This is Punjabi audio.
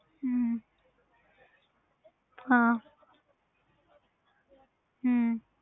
ਹਮ ਹਾਂ ਹਮ